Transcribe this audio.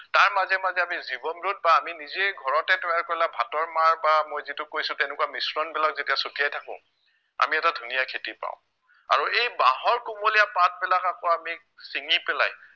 তাৰ মাজে মাজে আমি জীৱন root বা আমি নিজেই ঘৰতে তৈয়াৰ কৰা ভাতৰ মাৰ বা মই যিটো কৈছো তেনেকুৱা মিশ্ৰণবিলাক যেতিয়া চটিয়াই থাকো আমি এটা ধুনীয়া খেতি পাও আৰু এই বাঁহৰ কুমলীয়া পাতবিলাক আকৌ আমি চিঙি পেলাই